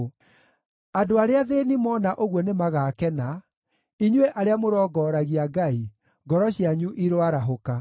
Andũ arĩa athĩĩni mona ũguo nĩmagakena; inyuĩ arĩa mũrongoragia Ngai, ngoro cianyu iroarahũka!